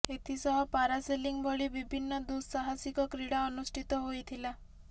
ଏଥିସହ parasailing ଭଳି ବିଭିନ୍ନ ଦୁଃସାହାସିକ କ୍ରୀଡା ଅନୁଷ୍ଠିତ ହୋଇଥିଲା